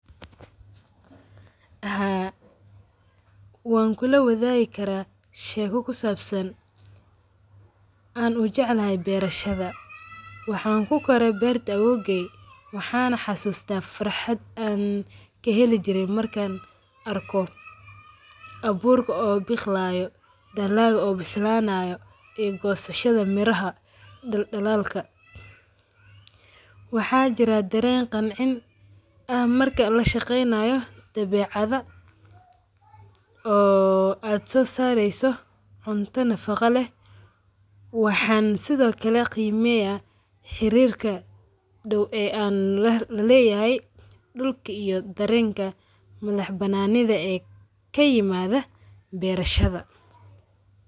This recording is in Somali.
Haa, wankulawadaagi karaa sheeko ku saabsan an ujeclahay beerashada. Waxan ku koore beerta awowgay waxana xasusta farxaad aan kaheli jiray markan arko abuurka oo bikhlayo daalg oo bislanayo ii gosahadha miraha daldalalka. Waxa jira dareen gancin aan marka lashaqeynayo debacadha oo aad soo sareyso cunta nafaqa lee waxan sidho kale qimeya xirirka doow ee an lalehay dulka iyo dareenka manax bananidha ee kayimadha beerashada.